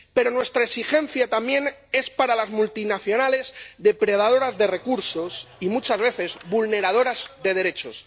Pero nuestra exigencia también es para las multinacionales depredadoras de recursos y, muchas veces, vulneradoras de derechos.